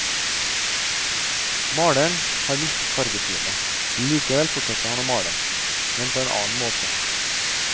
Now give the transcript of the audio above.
Maleren har mistet fargesynet, likevel fortsetter han å male, men på en annen måte.